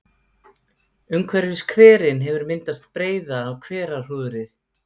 Umhverfis hverinn hefur myndast breiða af hverahrúðri.